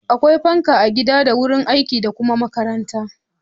Akwai fanka a gida da wurin aiki da kuma makaranta.